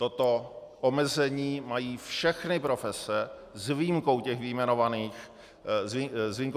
Toto omezení mají všechny profese s výjimkou těch vyjmenovaných činností v té výjimce.